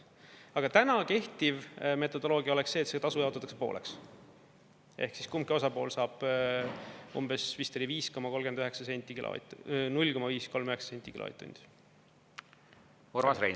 Aga täna kehtiv metodoloogia oleks see, et see tasu jaotatakse pooleks ehk siis kumbki osapool saab umbes, vist oli, 5,39 senti kilovatt, 0,539 senti kilovatt-tundi.